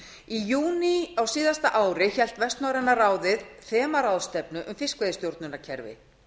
í júní á síðasta ári hélt vestnorræna ráðið þemaráðstefnu um fiskveiðistjórnarkerfi